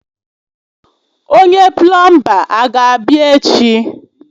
Onye plọọmba ga-abịa echi?